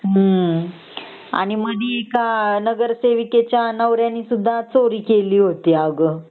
हम्म मधे नगरसेविका च्या नवऱ्याने चोरी केली होती अग सुद्धा चोरी केली होती अग